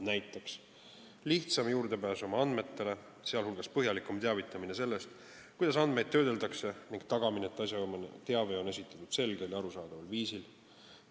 Näiteks on lihtsam juurde pääseda oma andmetele, sh teavitatakse põhjalikumalt sellest, kuidas andmeid töödeldakse, ning tagatakse, et asjaomane teave on esitatud selgel ja arusaadaval viisil.